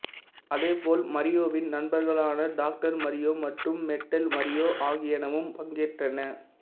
அதே போல் மரியோவின் நண்பர்களான டாக்டர் மரியோ மற்றும் மெட்டல் மரியோ ஆகியனவும் பங்கேற்றன